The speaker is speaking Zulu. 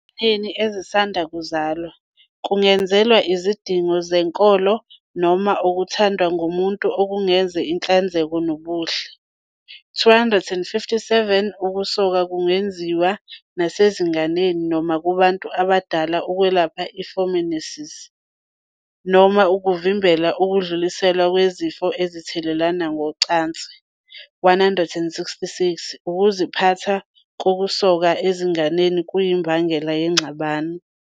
Ezinganeni ezisanda kuzalwa, kungenzelwa izidingo zenkolo noma okuthandwa ngumuntu okuzungeze inhlanzeko nobuhle. - 257 Ukusoka kungenziwa nasezinganeni noma kubantu abadala ukwelapha i-phimosis, i-balanitis, noma ukuvimbela ukudluliselwa kwezifo ezithathelwana ngocansi.- 166 Ukuziphatha kokusoka ezinganeni kuyimbangela yengxabano.